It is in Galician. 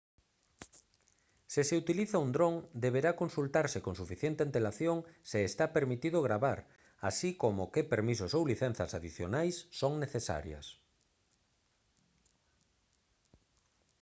se se utiliza un dron deberá consultarse con suficiente antelación se está permitido gravar así como que permisos ou licenzas adicionais son necesarias